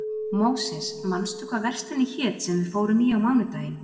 Móses, manstu hvað verslunin hét sem við fórum í á mánudaginn?